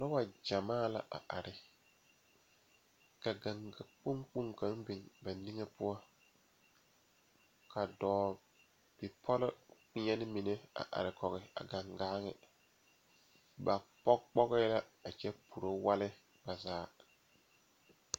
Noba la laŋ lammo yaga lɛ ba mine zeŋ la dakoo zu naŋ ba poɔrɔ ba mine are la ba nimitɔɔreŋ dɔba la are a nimitɔɔre ba ba su kparɛɛ ba de la pɛmɛ le ba zuri ba seɛ la wagyɛre ba seereŋ ba biŋ la gaŋga kpoŋ kaŋ ba nimitɔɔreŋ ba mine meŋ zeŋ la dakoo zu a pɛgele gaŋga dabilii ka gaŋga bilii meŋ biŋ ba nimitɔɔreŋ